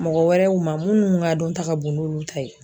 Mɔgɔ wɛrɛw ma munnu ka dɔn ta ka bon n'olu ta ye.